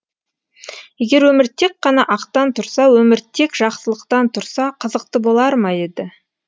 егер өмір тек қана ақтан тұрса өмір тек жақсылықтан тұрса қызықты болар ма еді